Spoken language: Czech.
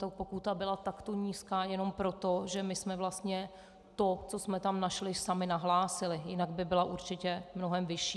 Tato pokuta byla takto nízká jenom proto, že my jsme vlastně to, co jsme tam našli, sami nahlásili, jinak by byla určitě mnohem vyšší.